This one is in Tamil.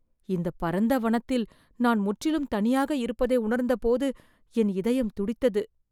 இந்தப் பரந்த வனத்தில் நான் முற்றிலும் தனியாக இருப்பதை உணர்ந்தபோது என் இதயம் துடித்தது.